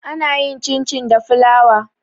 ana yin cin- cin da fulawa